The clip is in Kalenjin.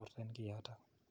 Torten ki yotok.